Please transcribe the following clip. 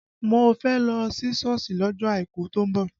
Mo fẹ́ lọ sí Sọ́ọ̀sì lọ́jọ́ àìkú tó ń bọ̀